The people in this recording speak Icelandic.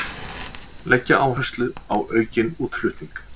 Leggja áherslu á aukinn útflutning